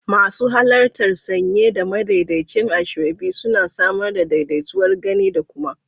Masu halarta sanye da madaidaicin asoebi suna samar da daidaituwar gani da kuma